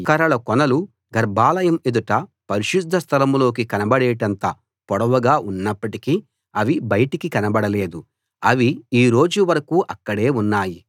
ఆ మోత కర్రల కొనలు గర్భాలయం ఎదుట పరిశుద్ధ స్థలం లోకి కనబడేటంత పొడవుగా ఉన్నప్పటికీ అవి బయటికి కనబడలేదు అవి ఈ రోజు వరకూ అక్కడే ఉన్నాయి